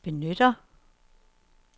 benytter